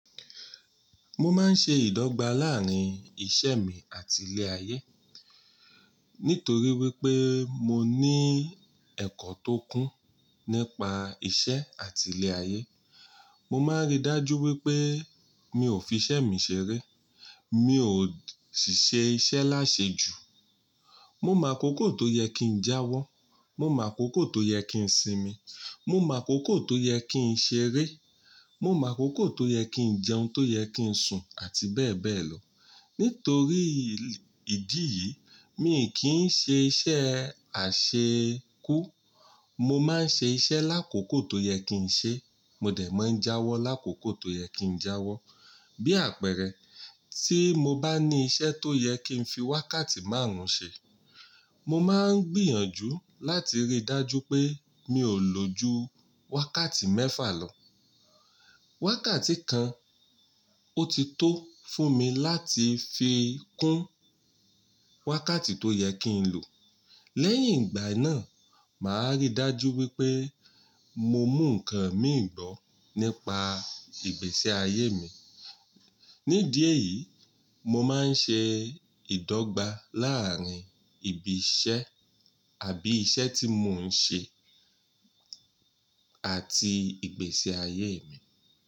Mo máa ń ṣe ìdọ́gba láàárín ìṣe mi àti ilé ayé. Nítorí wípé mo ní ẹ̀kọ́ tó kún nípa ìṣe àti ilé ayé. Mo máa ń rí dájú wípé mi ò fi iṣẹ́ mi ṣeré. Mi ò sì ṣe iṣẹ́ láṣejù. Mo màkókò tó yẹ kí n jáwọ́, mo màkókò tó yẹ kí n sinmi, mo màkókò tó yẹ kí n ṣeré, mo màkókò tó yẹ kí n jẹun, tó yẹ kí n sùn àti bẹ́ẹ̀ bẹ́ẹ̀ lọ. Nítorí ìdí yìí mi kì í ṣe iṣẹ́ ẹ àṣekú. Mo máa ń ṣe iṣẹ́ lákòókò tó yẹ kí n ṣe. Mo dẹ̀ máa ń jáwọ́ lákòókò tó yẹ kí n jáwọ́. Bí àpẹẹrẹ, tí mo bá ní iṣẹ́ tó yẹ kí n fi wákàtí márùn-ún ṣe, mo máa ń gbìyànjú láti rí dájú pé mi ò lò ju wákàtí mẹ́fà lọ. Wákàtí kan ó ti tó fún mi láti fi kún wákàtí tó yẹ kí n lò. Lẹ́yìn ìgbà náà, màá rí dájú wípé mo mú ǹkan mìhìnní gbọ́ nípa ìgbésí ayé mi. Nídìíè èyí, mo máa ń ṣe ìdọ́gba láàárín ibi iṣẹ́ àbí iṣẹ́ tí mo ń ṣe àti ìgbésẹ̀ ayé mi.